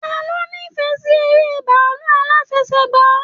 Taló n'ifẹ sí èrè bàálù alafẹ̀sẹ̀gba?